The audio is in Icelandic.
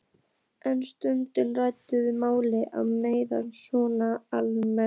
En stundum ræðum við málin meira svona almennt.